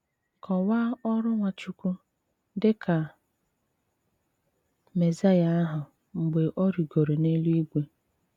Kọ́waa ọrụ́ Nwáchùkwù ’ dị ka Mèsáíà ahụ̀ mgbè ọ̀ rìgòrò n’èlú-ìgwè.